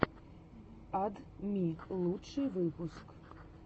ад ми лучший выпуск